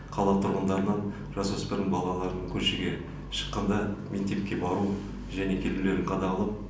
қала тұрғындарынан жасөспірім балаларын көшеге шыққанда мектепке бару және келулерін қадағалап